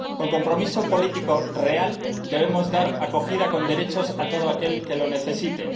Con un compromiso político real, debemos dar acogida con derechos a todo aquel que lo necesite.